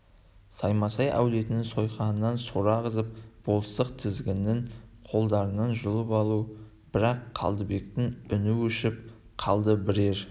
саймасай әулетінің сойқанынан сора ағызып болыстық тізгінін қолдарынан жұлып алу бірақ қалдыбектің үні өшіп қалды бірер